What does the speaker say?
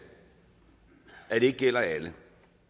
ikke gælder alle